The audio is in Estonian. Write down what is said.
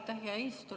Aitäh, hea eesistuja!